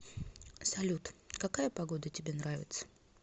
салют какая погода тебе нравится